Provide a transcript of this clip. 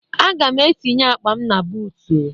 Aga m etinye akpa m na buutu.